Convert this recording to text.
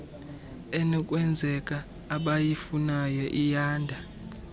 enokwenzeka abayifunayo iyanda